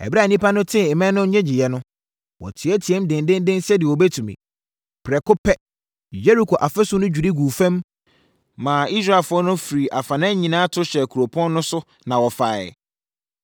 Ɛberɛ a nnipa no tee mmɛn no nnyegyeeɛ no, wɔteateaam dendeenden sɛdeɛ wɔbɛtumi. Prɛko pɛ Yeriko afasuo no dwiri guu fam maa Israelfoɔ no firi afanan nyinaa to hyɛɛ kuropɔn no so na wɔfaeɛ.